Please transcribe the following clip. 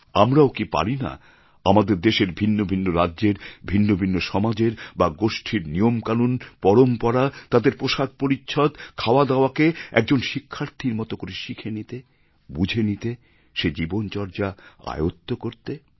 আমরাও কি পারিনা আমাদের দেশের ভিন্ন ভিন্ন রাজ্যের ভিন্ন ভিন্ন সমাজের বা গোষ্ঠীর নিয়মকানুন পরম্পরা তাদের পোশাক পরিচ্ছদ খাওয়াদাওয়াকে একজন শিক্ষার্থীর মতো করে শিখে নিতে বুঝে নিতে সে জীবনচর্যা আয়ত্ত করতে